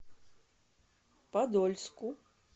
подольску